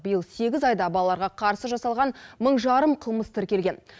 биыл сегіз айда балаларға қарсы жасалған мың жарым қылмыс тіркелген